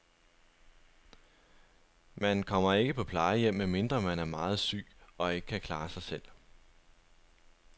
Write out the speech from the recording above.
Man kommer ikke på plejehjem, medmindre man er meget syg og ikke kan klare sig selv.